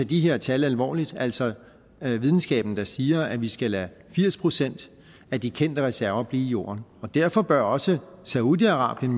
de her tal alvorligt altså at videnskaben siger at vi skal lade firs procent af de kendte reserver blive i jorden derfor bør også saudi arabien